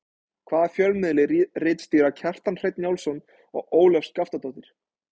Hvaða fjölmiðli ritstýra Kjartan Hreinn Njálsson og Ólöf Skaftadóttir?